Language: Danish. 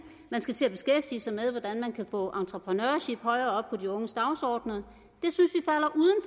man skal til at beskæftige sig med hvordan man kan få entrepeneurship højere op på de unges dagsordener